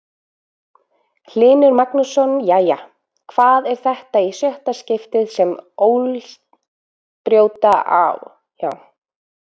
Hlynur Magnússon Jæja, hvað er þetta í sjötta skiptið sem Ólsarar brjóta á Árna Vill?